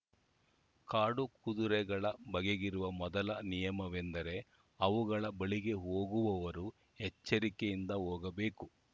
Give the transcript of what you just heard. ಕಾಡು ಕುದುರೆಗಳ ಬಗೆಗಿರುವ ಮೊದಲ ನಿಯಮವೆಂದರೆ ಅವುಗಳ ಬಳಿಗೆ ಹೋಗುವವರು ಎಚ್ಚರಿಕೆಯಿಂದ ಹೋಗಬೇಕು